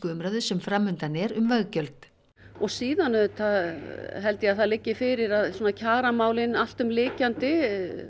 umræðu sem fram undan er um veggjöld og síðan auðvitað held ég að það liggi fyrir að kjaramálin alltumlykjandi